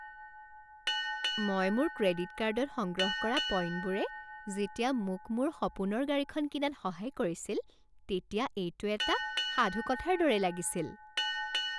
মই মোৰ ক্ৰেডিট কাৰ্ডত সংগ্ৰহ কৰা পইণ্টবোৰে যেতিয়া মোক মোৰ সপোনৰ গাড়ীখন কিনাত সহায় কৰিছিল তেতিয়া এইটো এটা সাধুকথাৰ দৰে লাগিছিল।